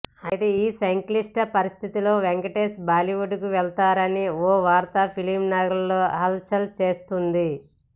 అయితే ఈ సంక్లిష్ట పరిస్థితిలో వెంకటేష్ బాలీవుడ్కి వెళతారని ఓ వార్త ఫిలింనగర్లో హల్చల్ చేస్తోంది